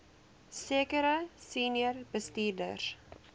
sekere senior bestuurders